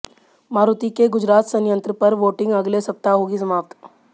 मारुति के गुजरात संयंत्र पर वोटिंग अगले सप्ताह होगी समाप्त